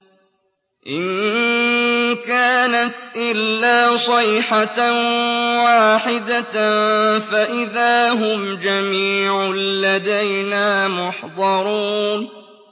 إِن كَانَتْ إِلَّا صَيْحَةً وَاحِدَةً فَإِذَا هُمْ جَمِيعٌ لَّدَيْنَا مُحْضَرُونَ